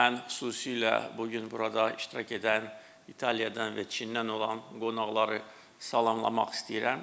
Mən xüsusilə bu gün burada iştirak edən İtaliyadan və Çindən olan qonaqları salamlamaq istəyirəm.